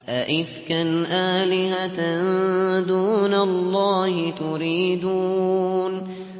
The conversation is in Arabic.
أَئِفْكًا آلِهَةً دُونَ اللَّهِ تُرِيدُونَ